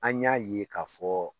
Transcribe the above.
An y'a ye k'a fɔ